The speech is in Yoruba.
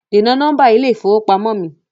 Dènà nọ́mbà ilé ìfowópamọ́ mi!